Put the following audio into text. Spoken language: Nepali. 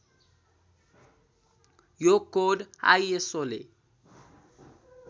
यो कोड आइएसओले